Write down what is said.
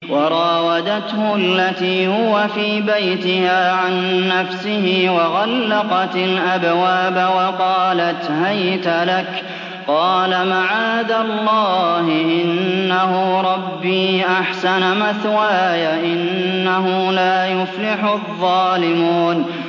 وَرَاوَدَتْهُ الَّتِي هُوَ فِي بَيْتِهَا عَن نَّفْسِهِ وَغَلَّقَتِ الْأَبْوَابَ وَقَالَتْ هَيْتَ لَكَ ۚ قَالَ مَعَاذَ اللَّهِ ۖ إِنَّهُ رَبِّي أَحْسَنَ مَثْوَايَ ۖ إِنَّهُ لَا يُفْلِحُ الظَّالِمُونَ